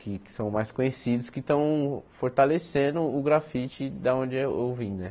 que que são mais conhecidos, que estão fortalecendo o grafite da onde eu vim né.